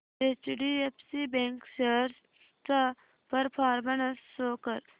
HDFC bank shares चा performance show कर